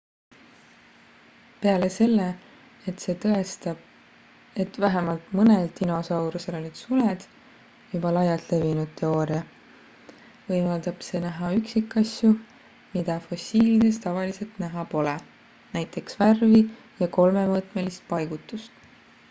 peale selle et see tõestab et vähemalt mõnel dinosaurusel olid suled juba laialt levinud teooria võimaldab see näha üksikasju mida fossiilides tavaliselt näha pole näiteks värvi ja kolmemõõtmelist paigutust